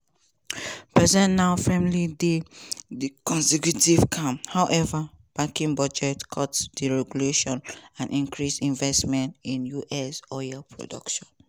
bessent now firmly dey di conservative camp howeva backing budget cuts deregulation and increased investment in us oil production.